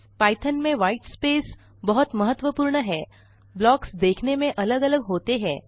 Python में white space बहुत महत्वपूर्ण है ब्लॉक्स देखने में अलग अलग होते हैं